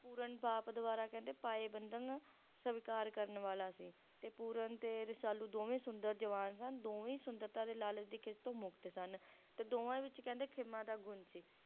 Pooran ਬਾਪ ਦੁਆਰਾ ਕਹਿੰਦੇ ਪਾਏ ਬੰਧਨ ਨੂੰ ਸਵੀਕਾਰ ਕਰਨ ਵਾਲਾ ਸੀ ਤੇ Pooran ਤੇ Rasalu ਦੋਵੇਂ ਸੁੰਦਰ ਜਵਾਨ ਸਨ ਦੋਵੇਂ ਹੀ ਸੁੰਦਰਤਾ ਦੇ ਲਾਲਚ ਦੇ ਖੇਤੋਂ ਮੁਕਤ ਸਨ ਤੇ ਦੋਵਾਂ ਵਿੱਚ ਕਹਿੰਦੇ ਖੇਮਾ ਦਾ ਗੁਣ ਸੀ